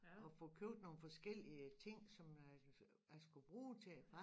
Og få købt nogle forskellige ting som jeg skulle bruge til